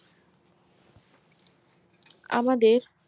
আমাদের